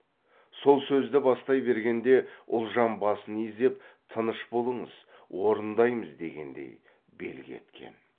сол сөзді бастай бергенде ұлжан басын изеп тыныш болыңыз орындаймыз дегендей белгі еткен